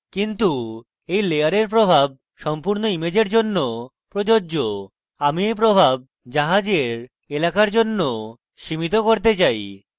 কিন্তু এই layer প্রভাব সম্পূর্ণ ইমেজের জন্য প্রযোজ্য এবং আমি এই প্রভাব জাহাজের এলাকার জন্য সীমিত করতে চাই